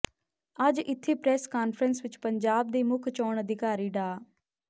ਅੱਜ ਇਥੇ press conference ਵਿਚ ਪੰਜਾਬ ਦੇ ਮੁੱਖ ਚੋਣ ਅਧਿਕਾਰੀ ਡਾ